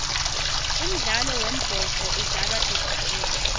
umdlalo wembhoco udlalwa tidlakela